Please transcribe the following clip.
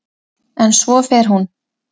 En svo fer hún.